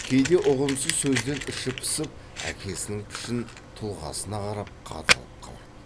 кейде ұғымсыз сөзден іші пысып әкесінің пішін тұлғасына қарап қадалып қалады